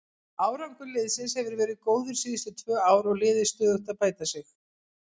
Árangur liðsins hefur verið góður síðustu tvö ár og liðið stöðugt að bæta sig.